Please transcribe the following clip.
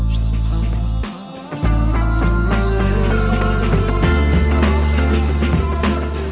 жылатқанқан уатқан қуантқан сол